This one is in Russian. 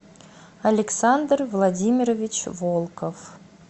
александр владимирович волков